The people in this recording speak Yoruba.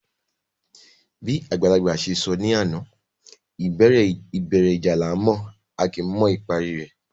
Bí àgbàlagbà se sọ ní àná, ìbẹ̀rẹ̀ ìjà la mọ̀, a kò kí n mọ ìparí rẹ̀